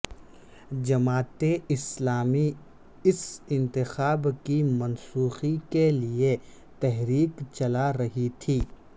جماعت اسلامی اس انتخاب کی منسوخی کے لیئے تحریک چلا رہی تھی